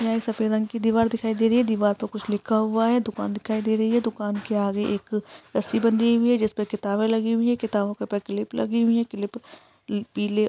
यहाँ एक सफेद रंग की दीवार दिखाई दे रही है। दीवार पर कुछ लिखा हुआ है। दुकान दिखाई दे रही है। दुकान के आगे एक रस्सी बंधी हुई है जिस पे किताबें लगी हुई हैं। किताबों के ऊपर क्लिप लगि हुई हैं। क्लिप पीले --